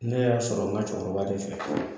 Ne y'a sɔrɔ n ka cɛkɔrɔba de fɛ